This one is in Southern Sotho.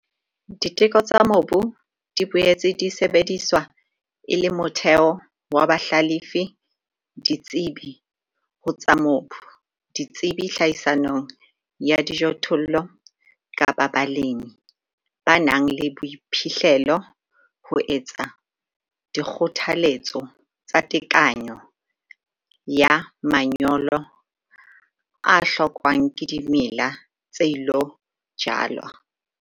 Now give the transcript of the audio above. Diteko tsa mobu di boetse di sebediswa e le motheo wa bahlalefi-ditsebi ho tsa mobu, ditsebi tlhahisong ya dijothollo kapa balemi ba nang le boiphihlelo ho etsa dikgothaletso tsa tekanyo ya manyolo a hlokwang ke dimela tse ilo jalwa.